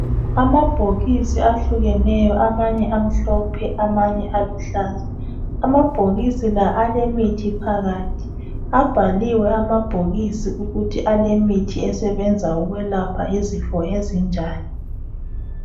Amabhokisi ahlukeneyo amanye amhlophe amanye aluhlaza amabhokisi la alemithi phakathi abhaliwe amabhokisi ukuthi alemithi esebenza ukwelapha izifo ezinjani.